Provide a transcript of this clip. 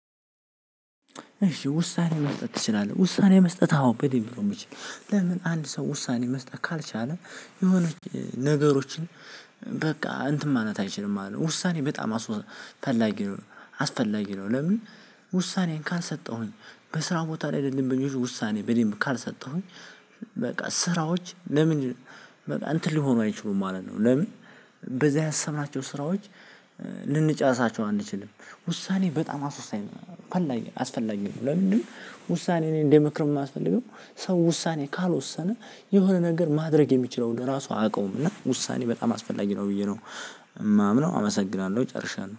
እሺ ውሳኔ መስጠት ትችላለህ ውሳኔ መስጠት አዎ በደምብ ነው የምችለው። ለምን አንድ ሰው ውሳኔ መስጠት ካልቻለ የሆነች ነገሮችን በቃ እንትን ማናት አይችልም ውሳኔ በጣም አስፈላጊ ነው። አስፈላጊ ነው። ለምን ውሳኔዬን ካልሰጠሁኝ በስራው ቦታ ላይ ለደንበኞች ውሳኔ በደንብ ካልሰጠሁኝ በቃ ስራዎች ለምን በቃ እንትን ሊሆኑ አይችሉም ማለት ነው ለምን በዚህ ያሰብናቸው ስራዎች ልንጨርሳቸው አንችልም ውሳኔ በጣም አስወሳኝ ነው ፈላኝ አስፈላጊ ነው ለምንድነው ውሳኔ እኔ እንደምክር የማስፈልገው ሰው ውሳኔ ካልወሰነ የሆነ ነገር ማድረግ የሚችለውን ለራሱ አያውቀውም እና ውሳኔ በጣም አስፈላጊ ነው ብዬ ነው የማምነው አመሰግናለሁ ጨርሻለሁ